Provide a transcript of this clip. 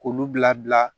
K'olu bila